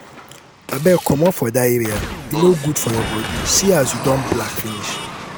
abeg comot for dat area e no good for your body see as you don black finish